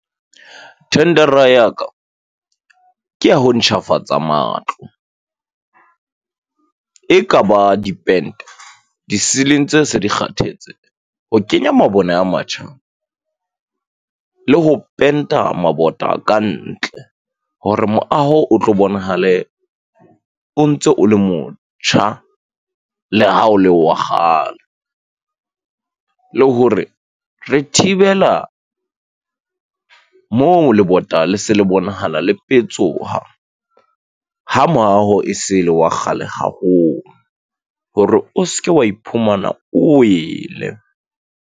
Thendara ya ka ke ya ho ntjhafatsa matlo. E ka ba diente, di-ceiling tse se di kgathetse. Ho kenya mabone a matjha le ho penta mabota ka ntle hore moaho o tlo bonahale o ntso o le motjha, le ha o le wa kgale. Le hore re thibela moo, lebota le se le bonahala le petsoha ha moaho e se le wa kgale haholo hore o ske wa iphumana o wele.